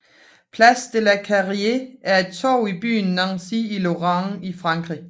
Place de la Carrière er et torv i byen Nancy i Lorraine i Frankrig